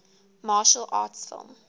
martial arts film